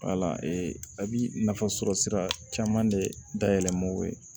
a bi nafa sɔrɔ sira caman de dayɛlɛ ma o ye